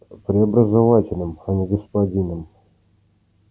преобразователем а не господином